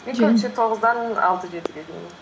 тоғыздан алты жетіге дейін